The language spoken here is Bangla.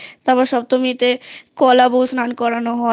তারপর সপ্তমীতে কলা বউ স্নান করানো হয়